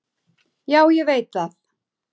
Já, ég veit það